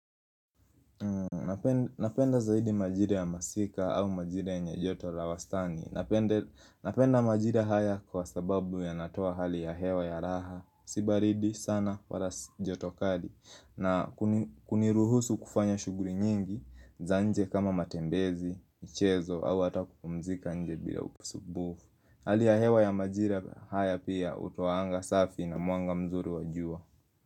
Napenda zaidi majire ya masika au majire nye joto la wastani Napenda majira haya kwa sababu ya natoa hali ya hewa ya raha Si baridi sana wala joto kali na kuniruhusu kufanya shuguli nyingi Zanje kama matembezi, michezo au hata kupumzika nje bila usubufu Hali ya hewa ya majira haya pia utoanga safi na mwanga mzuri wajua.